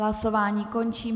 Hlasování končím.